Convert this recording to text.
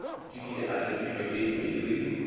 dikile a hlakišwa ke matriki